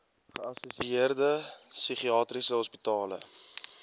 geassosieerde psigiatriese hospitale